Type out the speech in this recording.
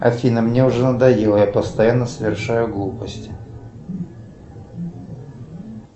афина мне уже надоело я постоянно совершаю глупости